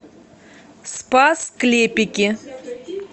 спас клепики